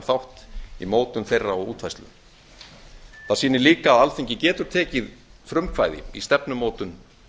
þátt í mótun þeirra og útfærslu það sýnir líka að alþingi getur tekið frumkvæði í stefnumótun